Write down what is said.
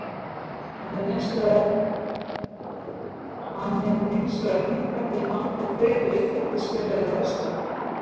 Hann hefur hins vegar hingað til haldið tryggð við uppeldisfélagið á Vestfjörðum.